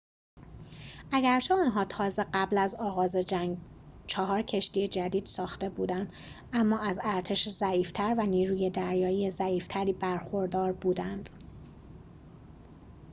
اگرچه آنها تازه قبل از آغاز جنگ چهار کشتی جدید ساخته بودند اما از ارتش ضعیف تر و نیروی دریایی ضعیف تری برخوردار بودند